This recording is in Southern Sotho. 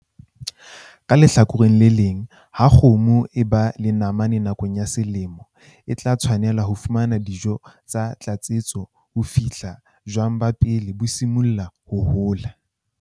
Ka lehlakoreng le leng, ha kgomo e ba le namane nakong ya selemo, e tla tshwanela ho fumana dijo tsa tlatsetso ho fihlela jwang ba pele bo simolla ho hola.